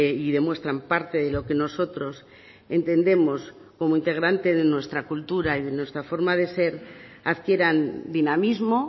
y demuestran parte de lo que nosotros entendemos como integrante de nuestra cultura y de nuestra forma de ser adquieran dinamismo